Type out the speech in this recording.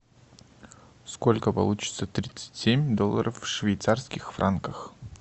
сколько получится тридцать семь долларов в швейцарских франках